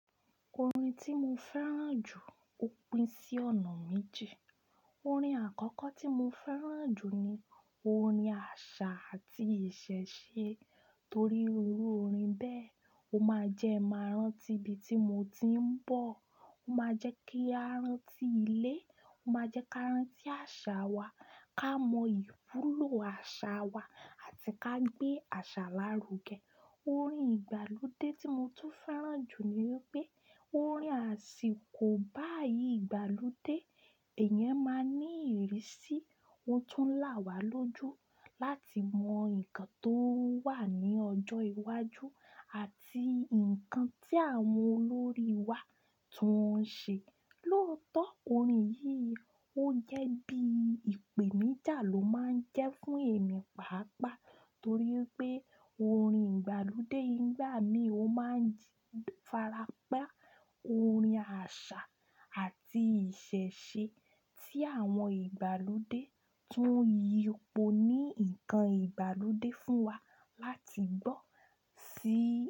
Orin tí mo fẹ́ràn jù ó pín sí ọ̀nà méje. Orin àkọ́kọ́ tí mo fẹ́ràn jù ni orin àṣà àti ìṣẹ̀ṣe torí orin bẹ́ẹ̀, ó máa jẹ́ máa rántí ibi tí mo ti ń bọ̀, ó máa jẹ́ kí a rántí ilé, ó máa jẹ́ ká rántí àṣà wa, ká mọ iwulo àṣà wa àti ká gbé àṣà lárugẹ. Orin ìgbàlódé tí mo tún fẹ́ràn jù ni pé orin àsìkò báyìí ìgbàlódé, ẹ̀yẹn máa ń ní ìrísí ohun tó ń là wá lójú láti mọ nǹkan tó wà ní ọjọ́ iwájú àti nǹkan tí àwọn olórí wa tún ń ṣe. Lóòótọ́ orin yìí ó jẹ́ bí ìpèníjà ló máa ń jẹ́ fún èmi pàápàá torí pé orin ìgbàlódé nígbà mí ó máa ń fárá pá orin àṣà àti ìṣẹ̀ṣe tí àwọn ìgbàlódé tún yipo ní nǹkan ìgbàlódé fún wa láti gbọ́ sí.